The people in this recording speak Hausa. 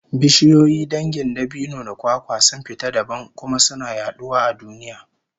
Bishiyoyi dangin dabino da kwakwa sun fita dabam, kuma suna yaduwa a duniya